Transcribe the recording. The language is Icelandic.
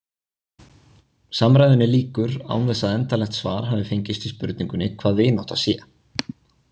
Samræðunni lýkur án þess að endanlegt svar hafi fengist við spurningunni hvað vinátta sé.